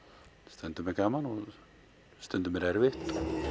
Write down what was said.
stundum er gaman og stundum er erfitt